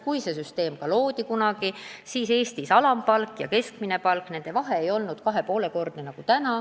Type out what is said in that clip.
Kui see süsteem kunagi loodi, siis ei olnud Eestis alampalga ja keskmise palga vahe kahe ja poole kordne, nagu praegu on.